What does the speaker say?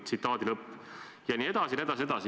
" Jne, jne, jne.